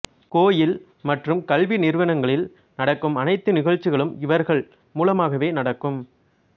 கோயில் மற்றும் கல்வி நிறுவனங்களில் நடக்கும் அனைத்து நிகழ்ச்சிகளும் இவர்கள் மூலமாகவே நடக்கும்